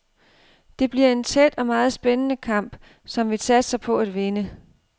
Det bliver en tæt og meget spændende kamp, som vi satser på at vinde.